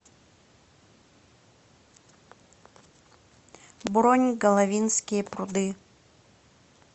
бронь головинские пруды